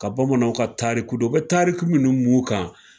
Ka bamananw ka tariku dɔn. U bɛ tariku munnu mun kan.